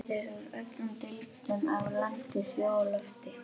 Þeir eru úr öllum deildum, af landi, sjó og lofti.